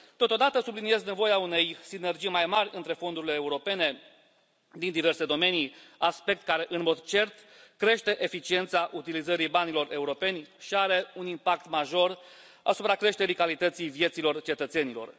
Totodată, subliniez nevoia unei sinergii mai mari între fondurile europene din diverse domenii, aspect care, în mod cert, crește eficiența utilizării banilor europeni și are un impact major asupra creșterii calității vieților cetățenilor.